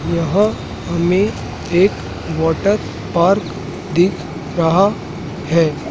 यहां हमें एक वाटर पार्क दिख रहा है।